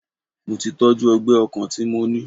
Mo tí tọ́jú ọgbẹ́ ọkàn tí mo ní.